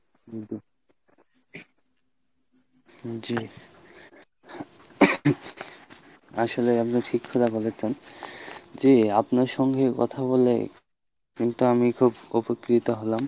জি , হম জি আসলে আপনি ঠিক কথা বলেছেন , জি আপনার সঙ্গে কথা বলে কিন্তু আমি খুব উপকৃত হলাম।